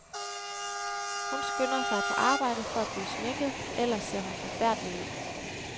Hun skynder sig på arbejde for at blive sminket, ellers ser hun forfærdelig ud.